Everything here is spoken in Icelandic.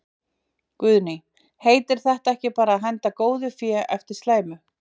Guðný: Heitir þetta ekki bara að henda góðu fé á eftir slæmu?